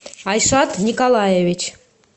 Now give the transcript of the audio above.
айшат николаевич